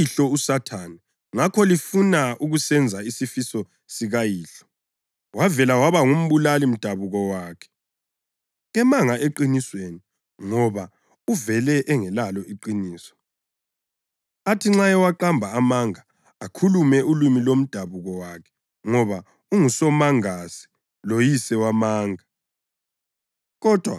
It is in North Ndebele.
Lingabakayihlo uSathane ngakho lifuna ukusenza isifiso sikayihlo. Wavele waba ngumbulali mdabuko wakhe, kemanga eqinisweni ngoba uvele engelalo iqiniso. Uthi nxa ewaqamba amanga, akhulume ulimi lomdabuko wakhe ngoba ungusomangase loyise wamanga.